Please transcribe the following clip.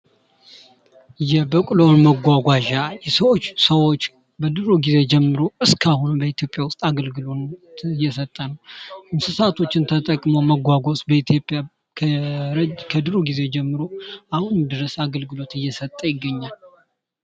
መጓጓዣ ሰዎችና እቃዎች ከአንድ ቦታ ወደ ሌላ ቦታ የሚንቀሳቀሱበት ዘዴ ነው። ተሽከርካሪዎች ደግሞ ይህንን እንቅስቃሴ የሚያከናውኑ መሳሪያዎች ናቸው።